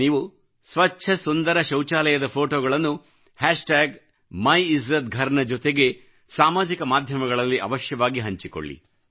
ನೀವು ಸ್ವಚ್ಚ ಸುಂದರ ಶೌಚಾಲಯದ ಫೋಟೋಗಳನ್ನು ಮೈಲ್ಜಾತ್ಘರ್ ನ ಜೊತೆಗೆ ಸಾಮಾಜಿಕ ಮಾಧ್ಯಮಗಳಲ್ಲಿ ಅವಶ್ಯವಾಗಿ ಹಂಚಿಕೊಳ್ಳಿ